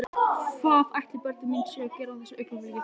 Hvað ætli börnin mín séu að gera á þessu augnabliki?